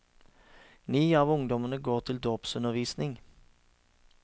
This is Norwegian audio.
Ni av ungdommene går til dåpsundervisning.